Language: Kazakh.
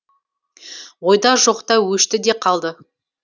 ойда жоқта өшті де қалды